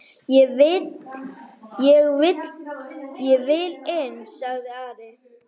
Ég vil inn, sagði Ari.